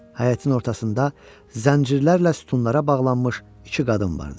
Həyətin ortasında zəncirlərlə sütunlara bağlanmış iki qadın vardı.